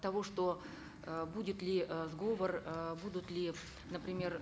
того что э будет ли э сговор э будут ли например